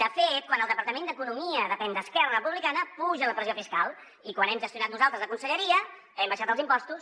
de fet quan el departament d’economia depèn d’esquerra republicana puja la pressió fiscal i quan hem gestionat nosaltres la conselleria hem abaixat els impostos